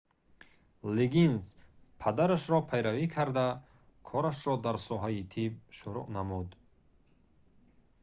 лиггинс падарашро пайравӣ карда корашро дар соҳаи тиб шуруъ намуд